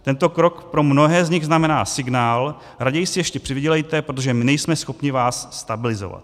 Tento krok pro mnohé z nich znamená signál: raději si ještě přivydělejte, protože my nejsme schopni vás stabilizovat.